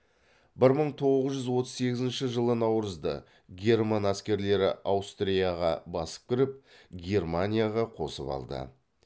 бір мың тоғыз жүз отыз сегізінші жылы наурызда герман әскерлері аустрияға басып кіріп германияға қосып алды